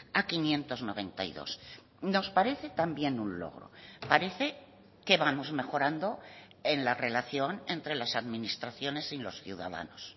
a quinientos noventa y dos nos parece también un logro parece que vamos mejorando en la relación entre las administraciones y los ciudadanos